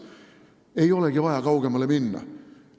Ei olegi vaja kaugele minna.